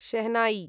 shehnai